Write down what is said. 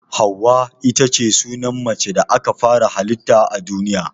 Hauwa itace sunan macen da aka fara hallita a duniya.